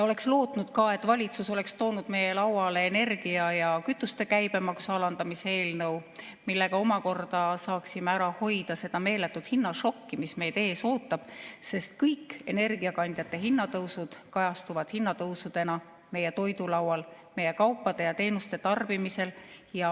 Oleks lootnud ka, et valitsus oleks toonud meie lauale energia ja kütuste käibemaksu alandamise eelnõu, millega omakorda saaksime ära hoida seda meeletut hinnašokki, mis meid ees ootab, sest kõik energiakandjate hinnatõusud kajastuvad hinnatõusudena meie toidulaual, meie kaupade ja teenuste tarbimises.